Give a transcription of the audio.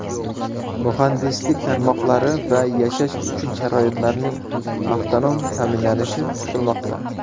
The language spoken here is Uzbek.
Muhandislik tarmoqlari va yashash uchun sharoitlarning avtonom ta’minlanishi kutilmoqda.